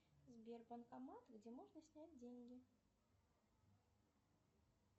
сбер банкомат где можно снять деньги